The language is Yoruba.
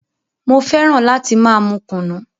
Mo fẹ́ràn láti máa mú kùnú.